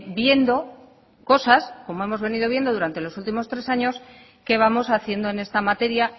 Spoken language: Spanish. viendo cosas como hemos venido viendo durante los últimos tres años que vamos haciendo en esta materia